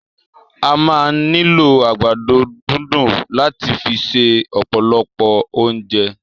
A máa ni lo àgbàdo dundun lat fi se ọpọlọ ounjẹ.